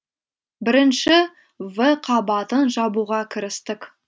бірінші в қабатын жабуға кірістік